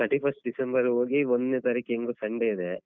Thirty first December ಹೋಗಿ ಒಂದ್ನೇ ತಾರೀಕ್ ಹೆಂಗು Sunday ಇದೆ.